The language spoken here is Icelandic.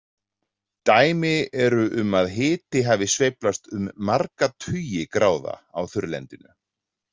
Dæmi eru um að hiti hafi sveiflast um marga tugi gráða á þurrlendinu.